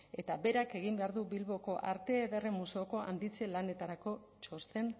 eta berak egin behar du bilboko arte ederren museoko handitze lanetarako txosten